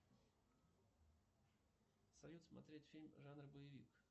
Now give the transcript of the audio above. салют смотреть фильм жанр боевик